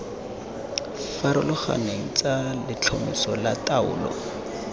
farologaneng tsa letlhomeso la taolo